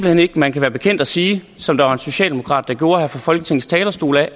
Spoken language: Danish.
hen ikke at man kan være bekendt at sige som der var en socialdemokrat der gjorde her fra folketingets talerstol at